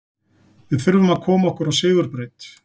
Við þurfum að koma okkur á sigurbraut.